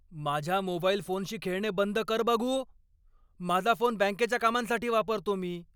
माझ्या मोबाईल फोनशी खेळणे बंद कर बघू. माझा फोन बँकेच्या कामांसाठी वापरतो मी.